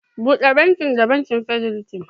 Bude banki da banki Fidelity.